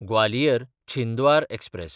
ग्वालियर–छिंद्वार express